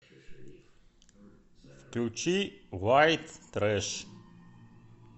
включи вайт трэш